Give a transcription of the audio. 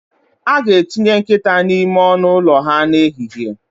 A ga-etinye nkịta n'ime ọnụ ụlọ ha n'ehihie